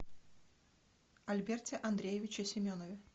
альберте андреевиче семенове